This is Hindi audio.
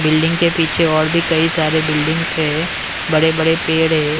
बिल्डिंग के पीछे और भी कहीं सारे बिल्डिंग्स है बड़े बड़े पेड़ है।